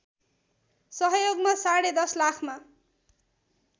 सहयोगमा साढे १० लाखमा